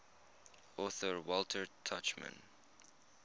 author walter tuchman